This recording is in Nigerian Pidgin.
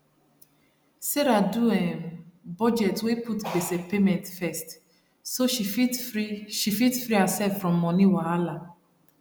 sarah do um budget wey put gbese payment first so she fit free she fit free herself from money wahala